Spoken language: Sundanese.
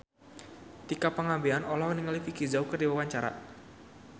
Tika Pangabean olohok ningali Vicki Zao keur diwawancara